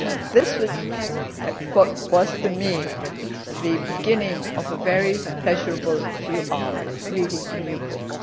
This was for me the beginning of a very pleasurable few hours reading a new book.